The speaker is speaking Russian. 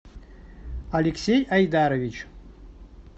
алексей айдарович